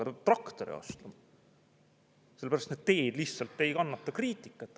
Ta peab traktori ostma, sellepärast et teed lihtsalt ei kannata kriitikat.